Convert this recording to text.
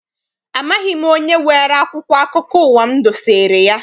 Amaghị m onye weere akwụkwọ akụkọ ụwa m dosere ya.